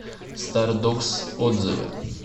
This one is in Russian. стардогс отзывы